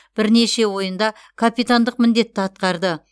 бірнеше ойында капитандық міндетті атқарды